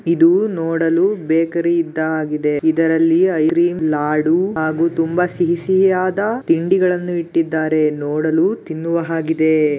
ಇದು ನೋಡಲು ಬೇಕರಿ ಇದ್ದ ಹಾಗಿದೆ. ಇದರಲ್ಲಿ ಲಾಡು ಮತ್ತು ತುಂಬಾ ಸಿಹಿ ಸಿಹಿಯಾದ ತಿಂಡಿಗಳನ್ನು ಇಟ್ಟಿದ್ದಾರೆ. ನೋಡಲು ತಿನ್ನುವ ಹಾಗಿದೆ.